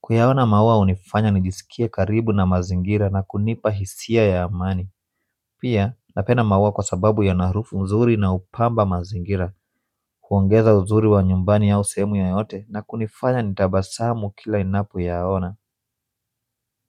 Kuyaona maua unifanya nijisikie karibu na mazingira na kunipa hisia ya amani pia napenda maua kwa sababu yana harufu nzuri na upamba mazingira kuongeza uzuri wa nyumbani au sehemu yoyote na kunifanya nitabasamu kila ninapoyaona.